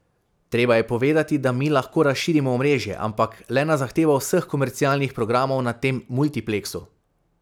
Treba je povedati, da mi lahko razširimo omrežje, ampak le na zahtevo vseh komercialnih programov na tem multipleksu.